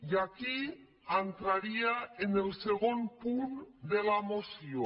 i aquí entraria en el segon punt de la moció